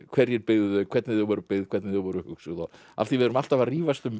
hverjir byggðu þau hvernig þau voru byggð og hvernig þau voru hugsuð af því við erum alltaf að rífast um